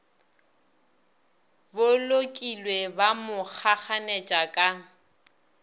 bolokilwe ba mo kgakganetša ka